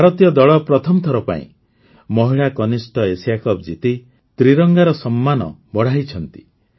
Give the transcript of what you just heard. ଭାରତୀୟ ଦଳ ପ୍ରଥମ ଥର ପାଇଁ ମହିଳା କନିଷ୍ଠ ଏସିଆ କପ୍ ଜିତି ତ୍ରିରଙ୍ଗାର ସମ୍ମାନ ବଢ଼ାଇଛନ୍ତି